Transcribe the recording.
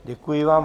Děkuji vám.